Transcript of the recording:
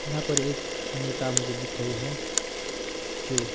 यहां पर एक नेता मुझे दिख रही है जो--